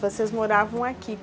Vocês moravam aqui.